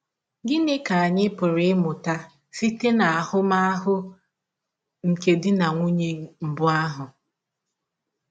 Gịnị ka anyị pụrụ ịmụta site n’ahụmahụ nke di na nwụnye mbụ ahụ??